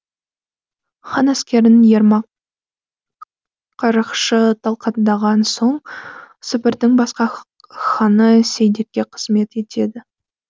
хан әскерін ермак қарақшы талқандаған соң сібірдің басқа ханы сейдекке қызмет етеді